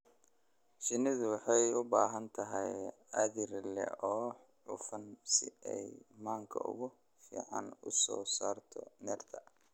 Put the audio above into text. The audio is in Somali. Shinnidu waxay u baahan tahay aag dhir leh oo cufan si ay manka ugu fiican u soo saarto nectar.